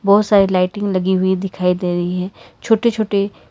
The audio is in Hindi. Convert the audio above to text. बहुत सारी लाइटिंग लगी हुई दिखाई दे रही है छोटे छोटे--